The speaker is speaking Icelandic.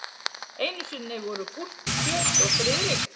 Einu sinni voru Gústi kjöt og Friðrik